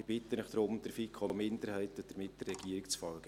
Ich bitte Sie daher, der FiKo-Minderheit und damit der Regierung zu folgen.